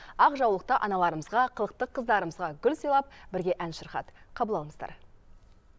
ақ жаулықты аналарымызға қылықты қыздарымызға гүл сыйлап бірге ән шырқады қабыл алыңыздар